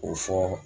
K'o fɔ